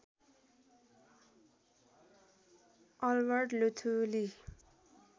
Albert Luthuli